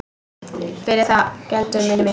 Fyrir það geldur minni mitt.